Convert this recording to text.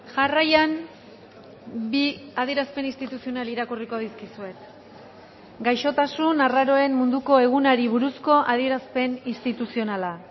jarraian bi adierazpen instituzional irakurriko dizkizuet gaixotasun arraroen munduko egunari buruzko adierazpen instituzionala